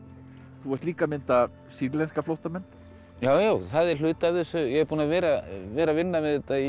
þú ert líka að mynda sýrlenska flóttamenn já það er hluti af þessu ég er búinn að vera að vera að vinna við þetta í